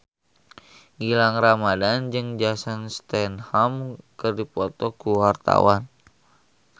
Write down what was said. Gilang Ramadan jeung Jason Statham keur dipoto ku wartawan